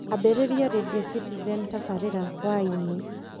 ambĩrĩria rĩndiũ citizen tabarĩra y-inĩ